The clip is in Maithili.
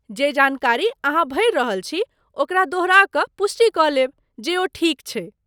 जे जानकारी अहाँ भरि रहल छी ओकरा दोहराय कऽ पुष्टि कऽ लेब जे ओ ठीक छै।